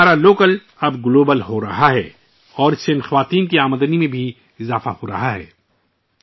اس کا مطلب ہے کہ ہمارا لوکل اب گلوبل ہو رہا ہے اور اس کی وجہ سے ، ان خواتین کی کمائی میں بھی اضافہ ہو رہا ہے